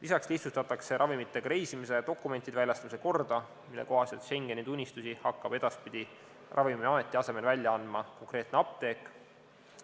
Lisaks lihtsustatakse ravimitega reisimise ja dokumentide väljastamise korda, mille kohaselt Schengeni tunnistusi hakkab edaspidi Ravimiameti asemel välja andma konkreetne apteek.